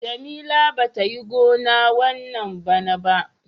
Jamila bata Yi gona wanna bana ba.